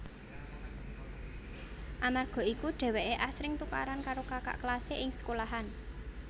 Amarga iku dheweke asring tukaran karo kakak kelase ing sekolahan